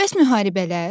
Bəs müharibələr?